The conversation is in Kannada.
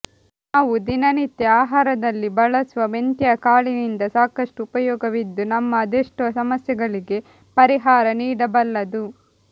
ನಾವು ದಿನನಿತ್ಯ ಆಹಾರದಲ್ಲಿ ಬಳಸುವ ಮೆಂತ್ಯಕಾಳಿನಿಂದ ಸಾಕಷ್ಟು ಉಪಯೋಗವಿದ್ದು ನಮ್ಮ ಅದೇಷ್ಟೋ ಸಮಸ್ಯೆಗಳಿಗೆ ಪರಿಹಾರ ನೀಡಬಲ್ಲದು